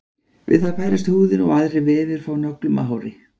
við það færist húðin og aðrir vefir frá nöglum og hári